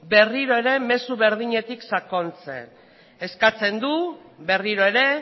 berriro ere mezu berdinetik sakontzen eskatzen du berriro ere